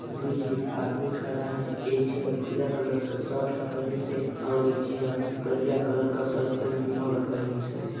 दुई जई आदमी खड़ा है एक झी हा भिरा कलर का शर्ट पेहनीस है और एक झी हा करिया कलर का शर्ट पैंट दुनो ला पेहनीस आहे।